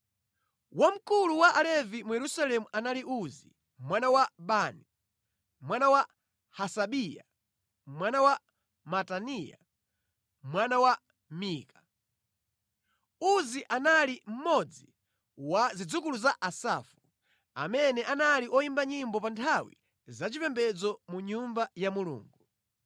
Wamkulu wa Alevi mu Yerusalemu anali Uzi mwana wa Bani, mwana wa Hasabiya, mwana wa Mataniya, mwana wa Mika. Uzi anali mmodzi wa zidzukulu za Asafu, amene anali oyimba nyimbo pa nthawi zachipembedzo mʼNyumba ya Mulungu.